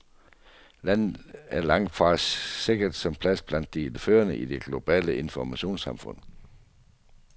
Landet er langt fra sikret en plads blandt de førende i det globale informationssamfund.